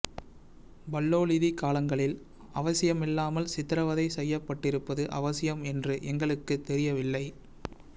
பல்லோலிதி காலங்களில் அவசியமில்லாமல் சித்திரவதை செய்யப்பட்டிருப்பது அவசியம் என்று எங்களுக்குத் தெரியவில்லை